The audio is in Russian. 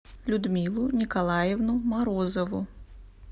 людмилу николаевну морозову